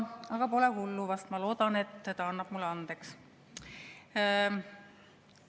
Aga pole hullu vast, ma loodan, et annab mulle andeks.